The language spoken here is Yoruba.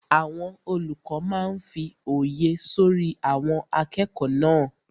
Àwọn olùkọ́ máa n fí òye sọ́rí àwọn akẹ́kọ̀ọ́ náà